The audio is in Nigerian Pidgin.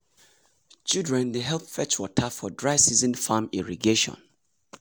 children dey fetch water for dry season farm irrigation.